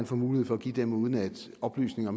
får mulighed for at give dem uden at oplysninger